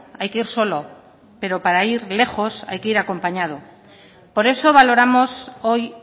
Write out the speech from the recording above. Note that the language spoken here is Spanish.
hay que ir solo pero para ir lejos hay que ir acompañado por eso valoramos hoy